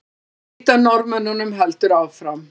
Leit að Norðmönnunum heldur áfram